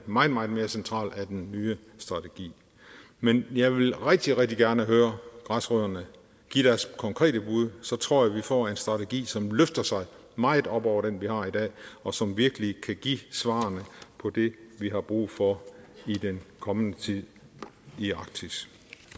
meget meget mere centralt i den nye strategi men jeg vil rigtig rigtig gerne høre græsrødderne give deres konkrete bud og så tror jeg vi får en strategi som løfter sig meget op over den vi har i dag og som virkelig kan give svarene på det vi har brug for i den kommende tid i arktis